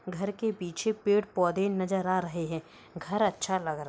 घर के पीछे पेड़ पौधे नजर आ रहे हैं। घर अच्छा लग रहा --